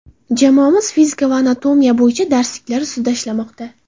Jamoamiz fizika va anatomiya bo‘yicha darsliklar ustida ishlamoqda.